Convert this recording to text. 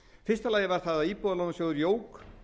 og aðrar erlendar fyrstu íbúðalánasjóður jók